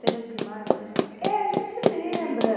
Seja do primário, seja... É, a gente lembra.